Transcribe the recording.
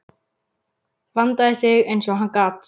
Vandaði sig eins og hann gat.